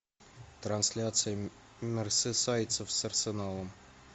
трансляция мерсисайдцев с арсеналом